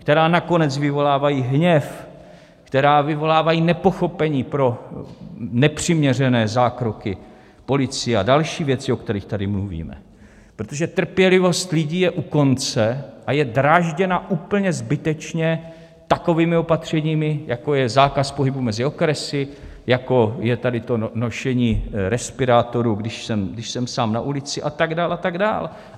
Která nakonec vyvolávají hněv, která vyvolávají nepochopení pro nepřiměřené zákroky policie a další věci, o kterých tady mluvíme, protože trpělivost lidí je u konce a je drážděna úplně zbytečně takovými opatřeními, jako je zákaz pohybu mezi okresy, jako je tady to nošení respirátoru, když jsem sám na ulici, a tak dál a tak dál.